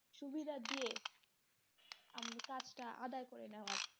সুবিধা দিয়ে কাজটা আদায় করে নেওয়া যায়